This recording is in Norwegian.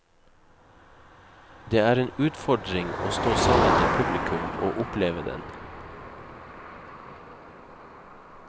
Det er en utfordring å stå sammen med publikum og oppleve den.